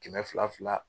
Kɛmɛ fila fila